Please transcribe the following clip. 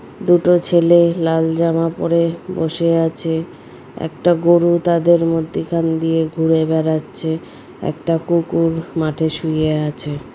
দুটো ছেলে লাল জামা পরে বসে আছে | একটা গরু তাদের মধ্যে এখান দিয়ে ঘুরে বেড়াচ্ছে | একটা কুকুর মাঠে শুয়ে আছে।